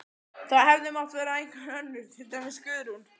Það hefði mátt vera einhver önnur, til dæmis Guðrún.